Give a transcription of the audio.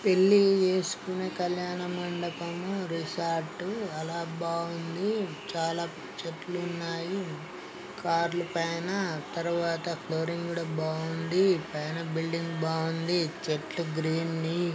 పెళ్లిళ్లు చేస్కునే కల్యాణ మండపం రిసార్ట్ అలా బాగుంది చాలా చెట్లు ఉన్నాయి. కార్ లు పైన తర్వాత ఫ్లోరింగ్ కూడా బాగుంది పైన బిల్డింగ్ బాగుంది చెట్లు గ్రీనరీ --